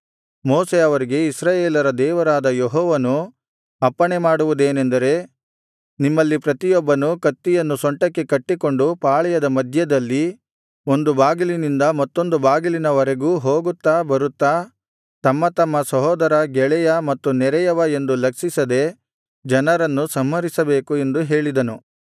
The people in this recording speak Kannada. ಮೋಶೆ ಅವರಿಗೆ ಇಸ್ರಾಯೇಲರ ದೇವರಾದ ಯೆಹೋವನು ಅಪ್ಪಣೆಮಾಡುವುದೇನೆಂದರೆ ನಿಮ್ಮಲ್ಲಿ ಪ್ರತಿಯೊಬ್ಬನೂ ಕತ್ತಿಯನ್ನು ಸೊಂಟಕ್ಕೆ ಕಟ್ಟಿಕೊಂಡು ಪಾಳೆಯದ ಮಧ್ಯದಲ್ಲಿ ಒಂದು ಬಾಗಿಲಿನಿಂದ ಮತ್ತೊಂದು ಬಾಗಿಲಿನ ವರೆಗೂ ಹೋಗುತ್ತಾ ಬರುತ್ತಾ ತಮ್ಮತಮ್ಮ ಸಹೋದರ ಗೆಳೆಯ ಮತ್ತು ನೆರೆಯವ ಎಂದು ಲಕ್ಷಿಸದೆ ಜನರನ್ನು ಸಂಹರಿಸಬೇಕು ಎಂದು ಹೇಳಿದನು